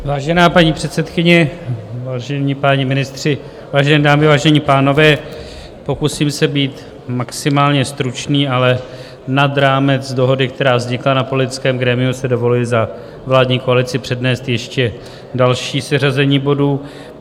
Vážená paní předsedkyně, vážení páni ministři, vážené dámy, vážení pánové, pokusím se být maximálně stručný, ale nad rámec dohody, která vznikla na politickém grémiu, si dovoluji za vládní koalici přednést ještě další seřazení bodů.